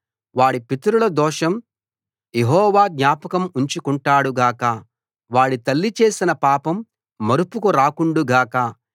వాడి పితరుల దోషం యెహోవా జ్ఞాపకం ఉంచుకుంటాడు గాక వాడి తల్లి చేసిన పాపం మరుపుకు రాకుండు గాక